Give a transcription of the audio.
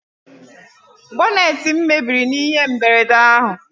Boneetị m mebiri n'ihe mberede ahụ